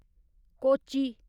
Kochi